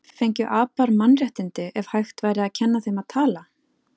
Fengju apar mannréttindi ef hægt væri að kenna þeim að tala?